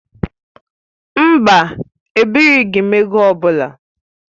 Mba, ebirighi m ego ọ bụla